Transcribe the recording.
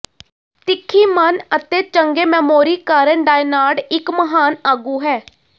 ਤਿੱਖੀ ਮਨ ਅਤੇ ਚੰਗੇ ਮੈਮੋਰੀ ਕਾਰਨ ਡਾਇਨਾਰ੍ਡ ਇੱਕ ਮਹਾਨ ਆਗੂ ਹੈ